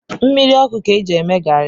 Mmiri ọkụ ka-eji eme garị